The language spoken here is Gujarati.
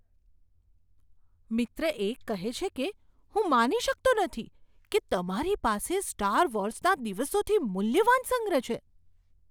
મિત્ર એક કહે છે કે, હું માની શકતો નથી કે તમારી પાસે સ્ટાર વોર્સના દિવસોથી મૂલ્યવાન સંગ્રહ છે.